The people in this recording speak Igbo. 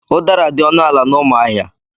Udara dị ọnụ ala na Umuahia.